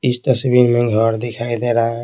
इस तस्वीर में घर दिखाई दे रहा है।